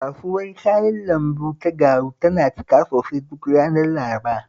Kasuwar kayan lambu ta Garu tana cika sosai duk ranar Laraba